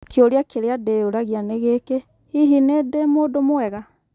Kĩũria kĩrĩa ndĩyũragia nĩ gĩkĩ - hihi niĩ ndĩ mũndũ mwega?